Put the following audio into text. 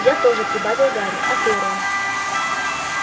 я тоже прибавил гарри а ты рон